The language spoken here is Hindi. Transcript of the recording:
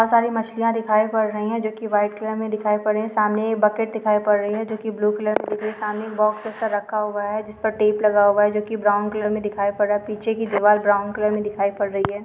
--त सारी मछलियाँ दिखाई पड़ रही है जोकि वाइट कलर मे दिखाई पड़ रही है सामने बकेट दिखाई पड़ रही है जोकि ब्लू कलर में दिख रही हैं सामने बॉक्स ऐसा रखा हुआ है जिस पर टेप लगा हुआ है जो की ब्राउन कलर मैं दिखाई पड़ रहा हैं पीछे की दिवाल ब्राउन कलर में दिखाई पड़ रही है।